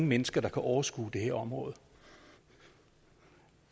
mennesker der kan overskue det her område